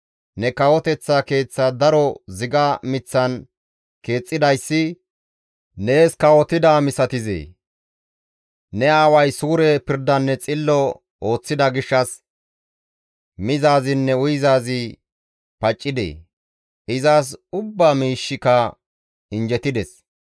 «Ne kawoteththa keeththa daro ziga miththan keexxidayssi nees kawotidaa misatizee? Ne aaway suure pirdanne xillo ooththida gishshas mizaazinne uyizaazi paccidee? Izas ubbaa miishshika injjetides.